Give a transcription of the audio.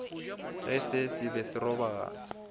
ge se be se robagana